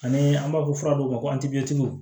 Ani an b'a fɔ fura dɔw ma ko